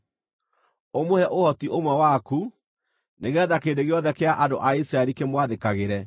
Ũmũhe ũhoti ũmwe waku, nĩgeetha kĩrĩndĩ gĩothe kĩa andũ a Isiraeli kĩmwathĩkagĩre.